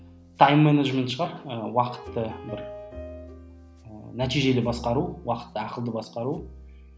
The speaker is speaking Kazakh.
тайм медежмент шығар ы уақытты бір і нәтижелі басқару уақытты ақылды басқару